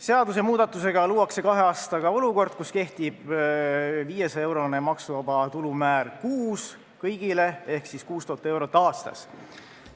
Seadusemuudatusega luuakse kahe aastaga olukord, kus kõigile kehtib 500-eurone maksuvaba tulu määr kuus ehk 6000 eurot aastas.